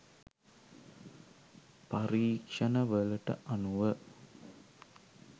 පරීක්ෂණ වලට අනුව